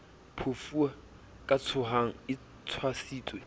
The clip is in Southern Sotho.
phofue ka tshohang e tshwasitswe